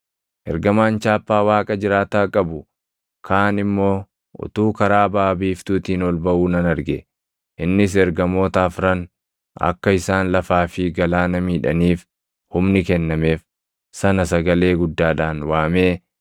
Ergamaan chaappaa Waaqa jiraataa qabu kaan immoo utuu karaa baʼa biiftuutiin ol baʼuu nan arge. Innis ergamoota afran akka isaan lafaa fi galaana miidhaniif humni kennameef sana sagalee guddaadhaan waamee,